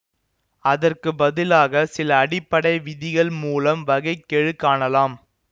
அதற்கு பதிலாக சில அடிப்படை விதிகள் மூலம் வகை கெழு காணலாம்